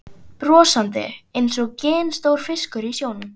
Brosandi einsog ginstór fiskur í sjónum.